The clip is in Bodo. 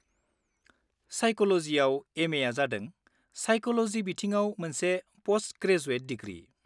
साइक'ल'जिआव MAआ जादों साइक'ल'जि बिथिङाव मोनसे पस्ट-ग्रेजुएट डिग्रि।